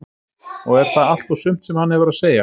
Og er það allt og sumt sem hann hefur að segja?